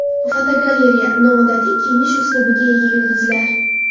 Fotogalereya: Noodatiy kiyinish uslubiga ega yulduzlar.